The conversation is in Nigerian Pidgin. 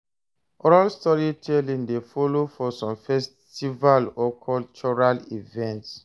Oral storytelling de follow for some festival or cultural events